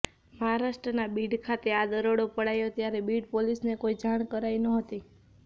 મહારાષ્ટ્રના બીડ ખાતે આ દરોડો પડાયો ત્યારે બીડ પોલીસને કોઈ જાણ કરાઈ નહોતી